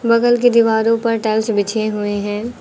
बगल की दीवारों पर टाइल्स बिछे हुए हैं।